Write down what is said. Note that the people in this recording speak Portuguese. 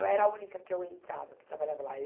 Eu era a única que eu entrava, que trabalhava lá.